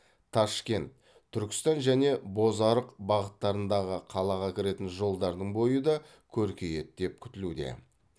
ташкент түркістан және бозарық бағыттарындағы қалаға кіретін жолдардың бойы да көркейеді деп күтілуде